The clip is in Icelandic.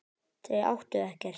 Þau áttu ekkert.